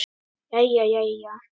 Jæja jæja.